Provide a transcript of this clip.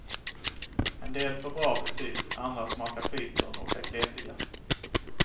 En del får bra betyg, andra smakar pyton och är kletiga.